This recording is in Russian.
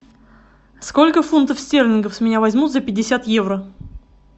сколько фунтов стерлингов с меня возьмут за пятьдесят евро